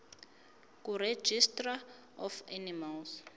kuregistrar of animals